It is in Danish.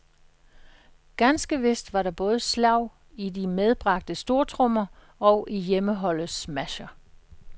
Ganske vist var der både slag i de medbragte stortrommer og i hjemmeholdets smasher.